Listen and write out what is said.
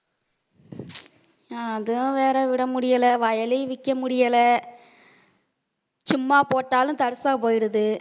அதுவும் வேற விட முடியல வயலையும் விக்க முடியல. சும்மா போட்டாலும் தர்சா போயிடுது